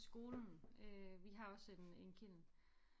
Skolen øh vi har også en en kiln